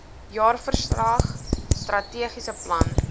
jaarverslag strategiese plan